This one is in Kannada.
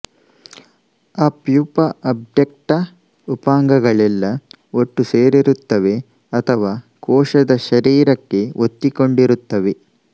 ಅ ಪ್ಯೂಪ ಆಬ್ಟೆಕ್ಟ ಉಪಾಂಗಗಳೆಲ್ಲ ಒಟ್ಟು ಸೇರಿರುತ್ತವೆ ಅಥವಾ ಕೋಶದ ಶರೀರಕ್ಕೆ ಒತ್ತಿಕೊಂಡಿರುತ್ತವೆ